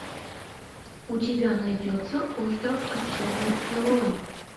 у тебя найдется остров отчаянных героев